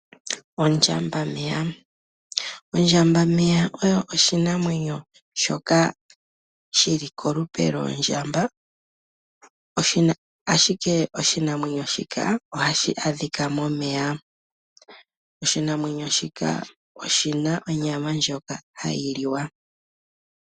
Ondjambameya, Ondjambameya oyo oshinamwenyo shoka shili kolupe lwoondjamba ashike oshinamwenyo shika ohashi adhika momeya. Oshinamwenyo shika oshina onyama ndjoka hayi liwa.